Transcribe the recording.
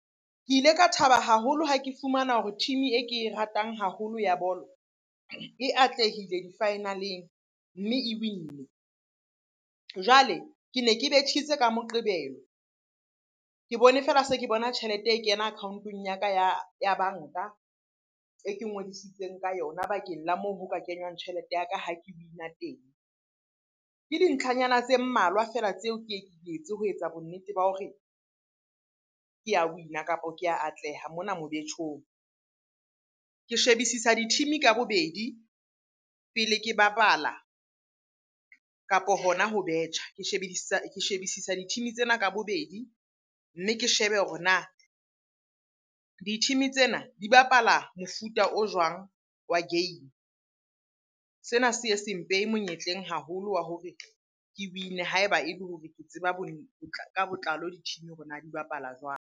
Ke ile ka thaba haholo ha ke fumana hore team-e e ke e ratang haholo ya bolo e atlehile di-final-eng, mme e win-ne. Jwale ke ne ke betjhitse ka Moqebelo, ke bone feela se ke bona tjhelete e kena account-ong ya ka ya banka e ke ngodisitseng ka yona bakeng la moo ho ka kenywang tjhelete ya ka ha ke win-a teng. Ke dintlhanyana tse mmalwa feela tseo ke ye ke di etse ho etsa bonnete ba hore ke a win-a, kapo ke ya atleha mona mobetjhong. Ke shebisisa di-team-e ka bobedi pele ke bapala, kapo hona ho betjha. Ke shebedisa di-team tsena ka bobedi, mme ke shebe hore na di-team-e tsena di bapala mofuta o jwang wa game? Sena se ye se mpeha monyetleng haholo wa hore ke win-e ha eba e le hore ke tseba ka botlalo di-team-e hore na di bapala jwang?